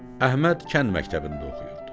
Əhməd kənd məktəbində oxuyurdu.